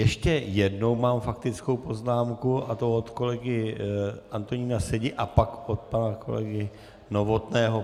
Ještě jednou mám faktickou poznámku, a to od kolegy Antonína Sedi, a pak od pana kolegy Novotného.